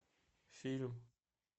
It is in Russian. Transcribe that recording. фильм